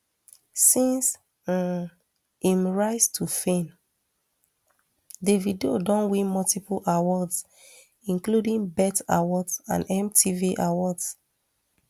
since um im rise to fame davido don win multiple awards including bet awards and mtv awards